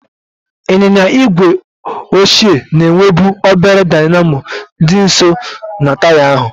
Ịnyịnya igwe ochie na-enwebu obere dynamo dị nso na taya ahụ.